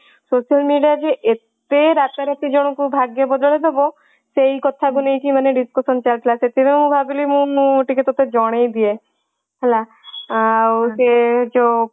social media ରେ ଏତେ ରାତା ରାତି ଭାଗ୍ୟ ବଦଳେଇଦବ ସେଇ କଥାକୁ ନେଇକି ମାନେ discussion ଚାଲିଥିଲ ତେଣୁ ଭାବିଲି ମୁଁ ଟିକେ ତତେ ଜଣେଇ ଦିଏ ହେଲା। ଆଉ ସେ ଯୋଉ